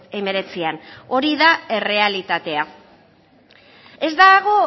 hemeretzian hori da errealitatea ez dago